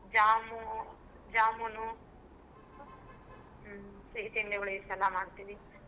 ಜಾಮೂ~ ಜಾಮೂನು. ಸಿಹಿ ತಿಂಡಿಗಳು ಇದನೆಲ್ಲಾ ಮಾಡ್ತೀವಿ.